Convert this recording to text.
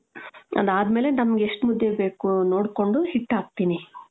ಅದಾದ್ಮೇಲೆ ನಮ್ಗೆ ಎಷ್ಟು ಮುದ್ದೆ ಬೇಕೋ ನೋಡ್ಕೊಂಡು ಹಿಟ್ಟು ಹಾಕ್ತೀನಿ .